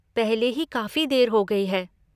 पहले ही काफ़ी देर हो गई है।